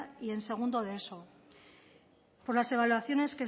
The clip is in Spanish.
y en segundo de eso por las evaluaciones